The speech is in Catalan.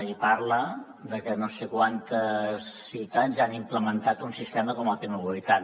i parla de que no sé quantes ciutats ja han implementat un sistema com la t mobilitat